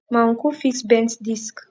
my uncle fix bent disc